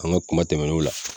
An ga kuma tɛmɛnenw la